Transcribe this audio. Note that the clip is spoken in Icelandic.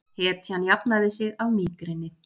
Hetjan jafnaði sig af mígreni